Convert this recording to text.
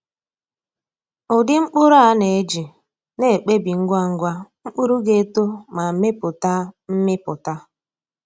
Ụdị mkpụrụ a na-eji na-ekpebi ngwa ngwa mkpụrụ ga-eto ma mepụta mmịpụta.